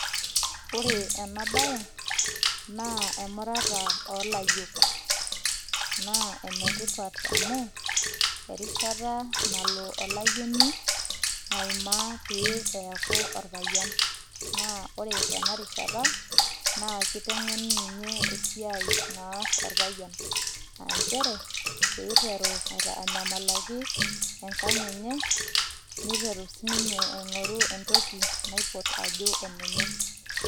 Ore enabae, naa emurata olayiok. Naa enetipat amu, erishata nalo olayioni aimaa pee eeku orpayiani. Naa ore tenarishata, naa kiteng'eni ninye esiai naas orpayian. Ah njere, piteru anyamalaki enkang' enye, niteru sininye aing'oru entoki naipot ajo enenye.